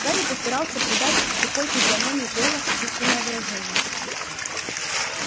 гарри постарался придать тупой физиономии гойла сочувственное выражение